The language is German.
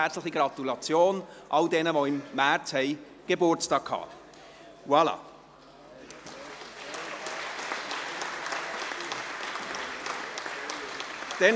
Herzliche Gratulation im Nachhinein an alle, die im März Geburtstag hatten.